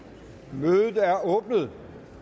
mødet er åbnet